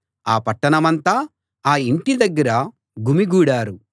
ఆ పట్టణమంతా ఆ ఇంటి దగ్గర గుమిగూడారు